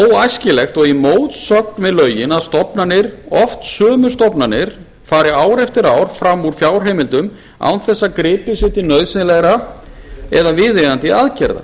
óæskilegt og í mótsögn við lögin að stofnanir oft sömu stofnanirnar fari ár eftir ár fram úr fjárheimildum án þess að gripið sé til nauðsynlegra eða viðeigandi aðgerða